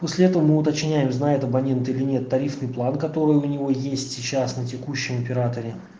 после этого мы уточняем знает абонент или нет тарифный план которые у него есть сейчас на текущем операторе